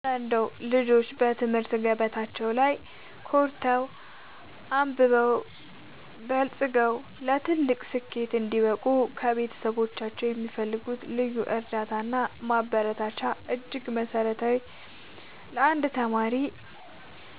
እረ እንደው ልጆች በትምህርት ገበታቸው ላይ ኮርተው፣ አብበውና በልጽገው ለትልቅ ስኬት እንዲበቁ ከቤተሰቦቻቸው የሚፈልጉት ልዩ እርዳታና ማበረታቻማ እጅግ መሠረታዊና ለአንድ ተማሪ